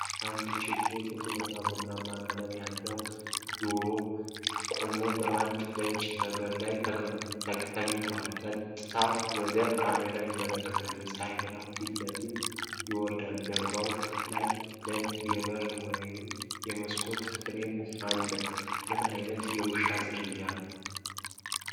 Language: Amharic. አንድ ቡችላ፣ ጥቁርና ቡናማ ቀለም ያለው፣ ጆሮው ቆሞ፣ በአንድ ነጭ ነገር ላይ ተኝቷል። ቀጥታ ወደ ካሜራው ይመለከታል፤ የፀሐይ ብርሃን ፊቱ ላይ ይወርዳል። ጀርባው ላይ ነጭ የበር ወይም የመስኮት ፍሬም አለ። ምን ዓይነት የውሻ ዝርያ ነው?